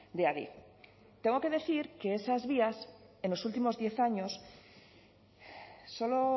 de adif tengo que decir que esas vías en los últimos diez años solo